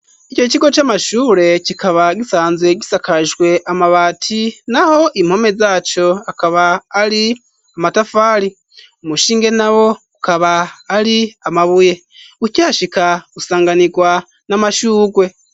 Ico kigo c'amashure kikaba gisanzwe gisakajwe amabati naho impome zaco akaba ari amatafali umushinge na bo ukaba ari amabuye ucyashika gusanganirwa n'amashugwe.